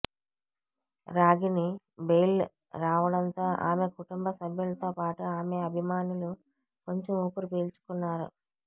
Ragini bail రావడంతో ఆమె కుటుంబ సభ్యులతో పాటు ఆమె అభిమానులు కొంచెం ఊపిరిపీల్చుకున్నారు